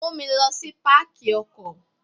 Mú mi lọ sí Pákì ọkọ̀.